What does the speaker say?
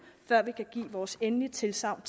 før vi kan give vores endelige tilsagn